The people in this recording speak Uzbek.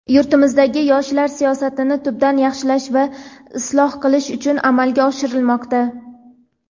yurtimizdagi yoshlar siyosatini tubdan yaxshilash va isloh qilish uchun amalga oshirilmoqda.